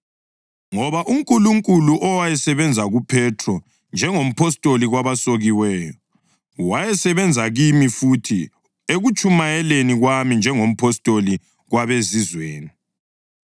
Ngoba uNkulunkulu, owayesebenza kuPhethro njengompostoli kwabasokiweyo, wayesebenza kimi futhi ekutshumayeleni kwami njengompostoli kwabeZizweni.